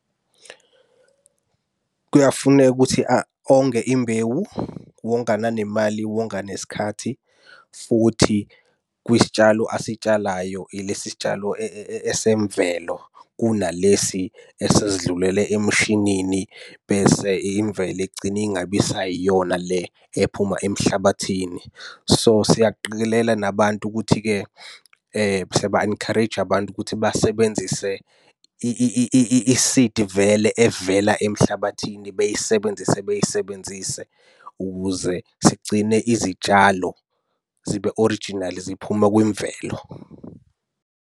Kuyafuneka ukuthi onge imbewu, wonga nanemali wonga nesikhathi futhi kwisitshalo asitshalayo ilesi sitshalesemvelo. Kunalesi esesidlulele emshinini bese imvelo igcine ingabe isayiyona le ephuma emhlabathini. So, siyakuqikelela nabantu ukuthi-ke siyaba-encourage abantu ukuthi basebenzise i-seed vele evela emhlabathini beyisebenzise beyisebenzise ukuze sigcine izitshalo zibe orijinali ziphume kwimvelo.